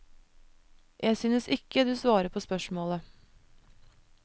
Jeg synes ikke du svarer på spørsmålet.